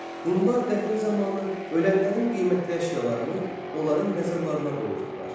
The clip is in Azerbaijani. Hunlar dəfn zamanı ölənlərin qiymətli əşyalarını onların məzarlarına qoyurdular.